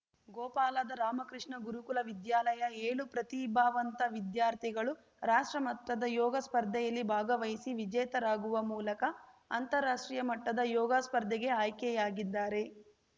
ಗೋಪಾಲದ ರಾಮಕೃಷ್ಣ ಗುರುಕುಲ ವಿದ್ಯಾಲಯದ ಏಳು ಪ್ರತಿಭಾವಂತ ವಿದ್ಯಾರ್ಥಿಗಳು ರಾಷ್ಟ್ರಮಟ್ಟದ ಯೋಗ ಸ್ಪರ್ಧೆಯಲ್ಲಿ ಭಾಗವಹಿಸಿ ವಿಜೇತರಾಗುವ ಮೂಲಕ ಅಂತರಾಷ್ಟ್ರೀಯ ಮಟ್ಟದ ಯೋಗಸ್ಪರ್ಧೆಗೆ ಆಯ್ಕೆಯಾಗಿದ್ದಾರೆ